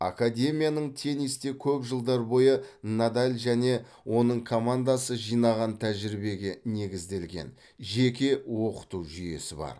академияның теннисте көп жылдар бойы надаль және оның командасы жинаған тәжірибеге негізделген жеке оқыту жүйесі бар